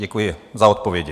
Děkuji za odpovědi.